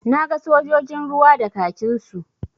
Na ga sojojin ruwa da kakinsu.